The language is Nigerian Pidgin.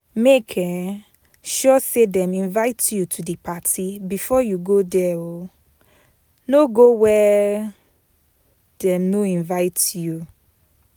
Make um sure say dem invite you to di parti before you go there um no go where dem no invite you